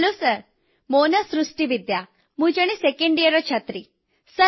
hello sir ମୋ ନାଁ ସୃଷ୍ଟି ବିଦ୍ୟା ଓ ମୁଁ ଜଣେ 2ୟ ବର୍ଷର ଛାତ୍ରୀ